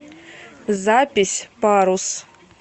запись парус